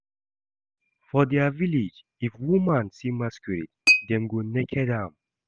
For dia village, if woman see masquerade dem go naked am